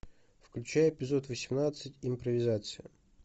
включай эпизод восемнадцать импровизация